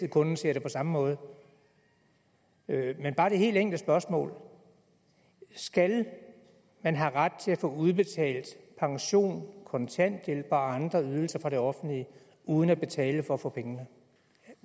at kunden ser det på samme måde men bare det helt enkle spørgsmål skal man have ret til at få udbetalt pension kontanthjælp og andre ydelser fra det offentlige uden at betale for at få pengene